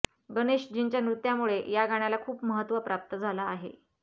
गणेशजींच्या नृत्यामुळे या गाण्याला खूप महत्त्व प्राप्त झालं आहे